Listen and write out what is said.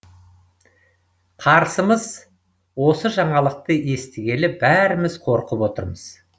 қарсымыз осы жаңалықты естігелі бәріміз қорқып отырмыз